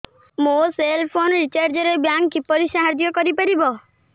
ମୋ cell phone recharge ରେ bank କିପରି ସାହାଯ୍ୟ କରିପାରିବ